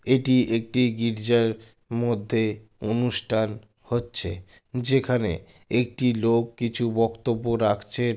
এটি একটি গির্জার মধ্যে অনুষ্ঠান হচ্ছে । যেখানে একটি লোক কিছু বক্তব্য রাখছে।